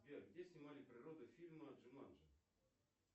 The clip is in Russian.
сбер где снимали природу фильма джуманджи